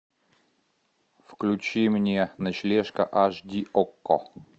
включи мне ночлежка аш ди окко